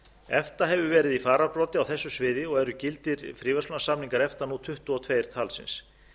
efta hefur verið í fararbroddi á þessu sviði og eru gildir fríverslunarsamningar efta nú tuttugu og tvö talsins